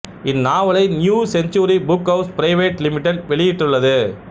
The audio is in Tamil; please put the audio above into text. இந்நாவலை New Century Book House Private Limited வெளியிட்டுள்ளது